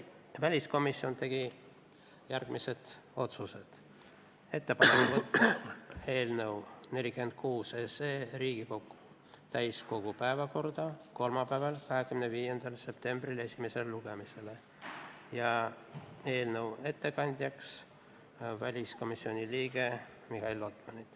Väliskomisjon tegi järgmised otsused: ettepanek on võtta eelnõu 46 Riigikogu täiskogu päevakorda esimesele lugemisele kolmapäeval, 25. septembril ning määrata eelnõu ettekandjaks väliskomisjoni liige Mihhail Lotman.